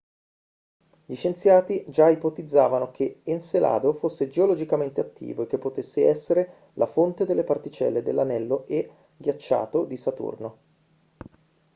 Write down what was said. gli scienziati già ipotizzavano che encelado fosse geologicamente attivo e che potesse essere la fonte delle particelle dell'anello e ghiacciato di saturno